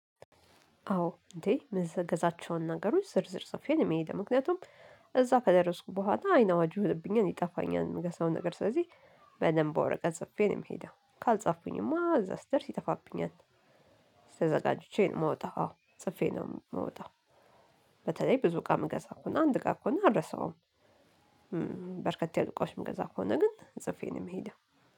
አዎ! እንዴ ምገዛዛቸውን ነገሮች ዝርዝር ጽፌ ነው ምሄደው፤ ምክንያቱም እዛ ከደረስኩ በኋላ አይን አዋጁ ሆነብኛል፤ ይጠፋኛል እንገሳው ነገር ስለዚህ በደንብ በወረቀት ጽፌ ነው የምሄደው፤ ካልጻፉኩኝማ እዛ ስደርስ ይጠፋብኛል። ተዘጋጅቼ ነው ምውጣው። ጽፌ ነው ምወጣው። በተለይ ብዙ እቃ ምገዛ ከሆነ አንድ እቃ ከሆነ አልረሳውም። በርከት ያሉ እቃዎች ምገዛ ከሆነ ግን ጽፌ ነው የምሄደው።